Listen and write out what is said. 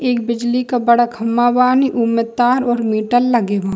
एक बिजली का बड़ा खम्बा बानी ऊ में तार और मीटर लगे बा।